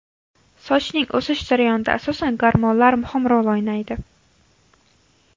Sochning o‘sish jarayonida asosan gormonlar muhim rol o‘ynaydi.